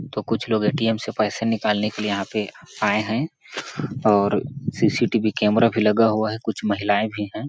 तो कुछ लोग एटीएम से पैसा निकालने के लिए यहाँ पे आए है और सीसीटीवी कैमरा भी लगा हुआ है कुछ महिलाए भी है।